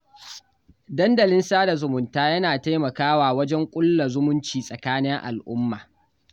Dandalin sada zumunta yana taimakawa wajen ƙulla zumunci tsakanin al'umma